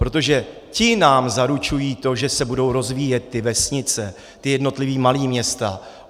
Protože ti nám zaručují to, že se budou rozvíjet ty vesnice, ta jednotlivá malá města.